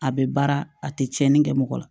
A bɛ baara a tɛ tiɲɛni kɛ mɔgɔ la